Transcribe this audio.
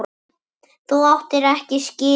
Þú áttir það ekki skilið.